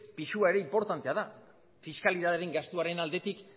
pisua inportantea da fiskalidadearen gastuaren aldetik